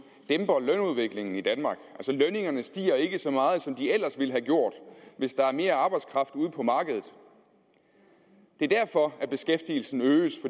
dæmper lønudviklingen i danmark altså lønningerne stiger ikke så meget som de ellers ville have gjort hvis der er mere arbejdskraft ude på markedet det er derfor at beskæftigelsen øges